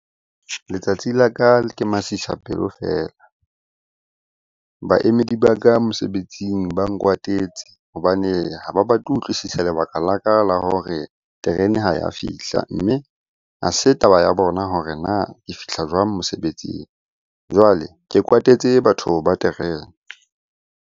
Letsatsi la ka ke masisapelo feela. Baemedi ba ka mosebetsing ba nkwatetse hobane ha ba batle ho utlwisisa lebaka la ka la hore terene ha ya fihla. Mme ha se taba ya bona hore na ke fihla jwang mosebetsing? Jwale ke kwatetse batho ba terene.